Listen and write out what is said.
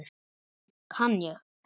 Heimir: Mætirðu alltaf í gönguna?